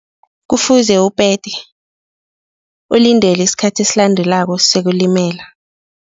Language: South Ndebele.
Kufuze upete, ulindele isikhathi esilandelako sokulimela.